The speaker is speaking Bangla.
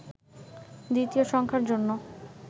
দ্বিতীয় সংখ্যার জন্য